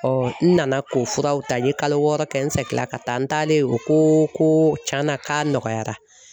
n nana k'o furaw ta n ye kalo wɔɔrɔ kɛ n sɛgila ka taa n taalen o ko ko tiɲɛna k'a nɔgɔyara